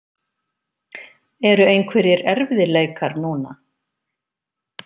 Eru einhverjir erfiðleikar núna?